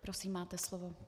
Prosím, máte slovo.